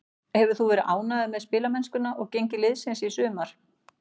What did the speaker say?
Hefur þú verið ánægður með spilamennskuna og gengi liðsins í sumar?